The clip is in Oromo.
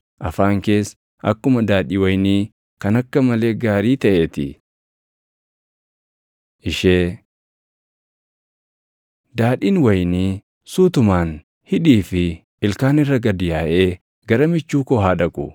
afaan kees akkuma daadhii wayinii kan akka malee gaarii taʼee ti. Ishee Daadhiin wayinii suutumaan hidhii fi ilkaan irra gad yaaʼee gara michuu koo haa dhaqu.